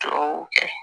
Duw kɛ